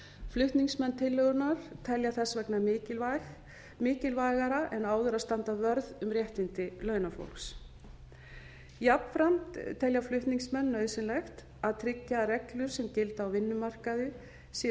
flutningsmenn tillögunnar telja þess vegna mikilvægara en áður að standa vörð um réttindi launafólks jafnframt telja flutningsmenn nauðsynlegt að tryggja að reglur sem gilda á vinnumarkaði séu